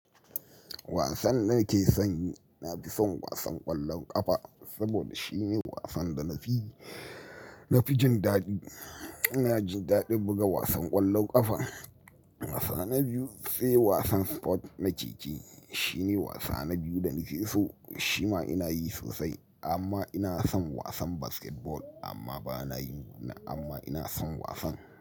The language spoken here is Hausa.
Wasan da nake son yi, na fi son wasan ƙwallon ƙafa saboda shine wasan da na fi, na fi jin daɗi. Ina jin daɗin buga wasan ƙwallon ƙafa. Wasanni biyu sai wasan sport na keke shine wasa na biyu da nake so. Shi ma ina yi sosai amma ina son wasan basketball amma ba na yi ba amma ina son wasan.